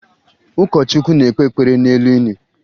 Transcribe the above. Ụkọchukwu na-ekpe ekpere n'elu ini